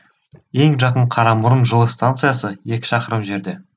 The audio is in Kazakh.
ең жақын қарамұрын жылы станциясы екі шақырым жерде